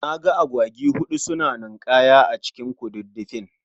Naga Agwagi huɗu suna nin'kaya a cikin ƙududdufin.